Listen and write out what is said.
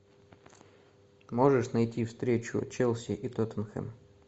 можешь найти встречу челси и тоттенхэм